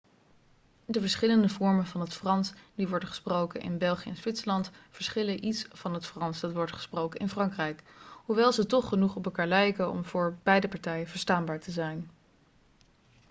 de verschillende vormen van het frans die worden gesproken in belgië en zwitserland verschillen iets van het frans dat wordt gesproken in frankrijk hoewel ze toch genoeg op elkaar lijken om voor beide partijen verstaanbaar te zijn